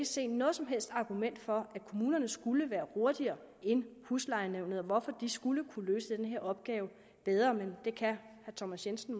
se noget som helst argument for at kommunerne skulle være hurtigere end huslejenævnene og hvorfor de skulle kunne løse den her opgave bedre men det kan herre thomas jensen